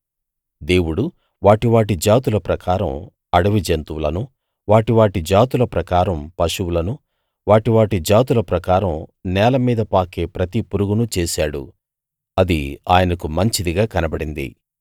దేవుడు వాటి వాటి జాతుల ప్రకారం అడవి జంతువులనూ వాటి వాటి జాతుల ప్రకారం పశువులనూ వాటి వాటి జాతుల ప్రకారం నేలమీద పాకే ప్రతి పురుగునూ చేశాడు అది ఆయనకు మంచిదిగా కనబడింది